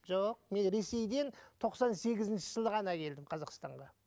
жоқ мен ресейден тоқсан сегізінші жылы ғана келдім қазақстанға